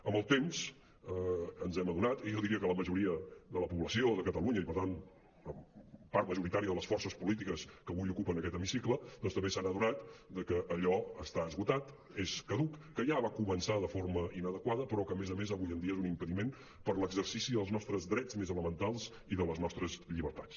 amb el temps ens n’hem adonat i jo diria que la majoria de la població de catalunya i per tant una part majoritària de les forces polítiques que avui ocupen aquest hemicicle doncs també s’han adonat de que allò està esgotat és caduc que ja va començar de forma inadequada però que a més a més avui en dia és un impediment per a l’exercici dels nostres drets més elementals i de les nostres llibertats